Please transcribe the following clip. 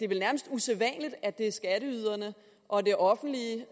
nærmest usædvanligt at det er skatteyderne og det offentlige